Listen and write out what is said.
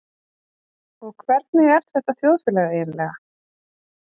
Og hvernig er þetta þjóðfélag eiginlega?